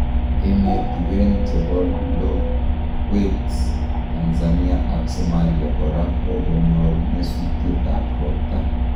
Emetiwen chepo lokwet Tanzania ak Somalia kora kokonyor nyesutiet ap ropta